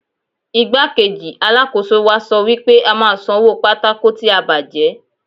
Igbá-kejì Alákóso wa sọ wípé a máa san owó pátákó tí a bàjẹ́.